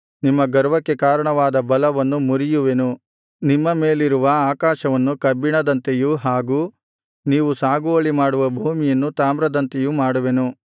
ನಿಮ್ಮ ಗರ್ವಕ್ಕೆ ಕಾರಣವಾದ ಬಲವನ್ನು ಮುರಿಯುವೆನು ನಿಮ್ಮ ಮೇಲಿರುವ ಆಕಾಶವನ್ನು ಕಬ್ಬಿಣದಂತೆಯೂ ಹಾಗು ನೀವು ಸಾಗುವಳಿಮಾಡುವ ಭೂಮಿಯನ್ನು ತಾಮ್ರದಂತೆಯೂ ಮಾಡುವೆನು